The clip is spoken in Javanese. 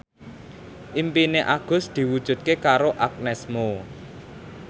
impine Agus diwujudke karo Agnes Mo